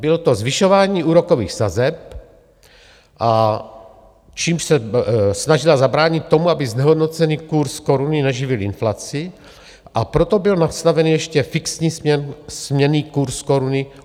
Bylo to zvyšování úrokových sazeb, čímž se snažila zabránit tomu, aby znehodnocený kurz koruny neživil inflaci, a proto byl nastavený ještě fixní směnný kurz koruny.